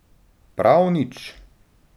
Prav nič.